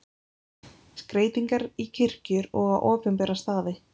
Skreytingar í kirkjur og á opinbera staði.